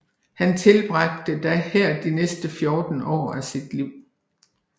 Han tilbragte da her de næste 14 år af sit liv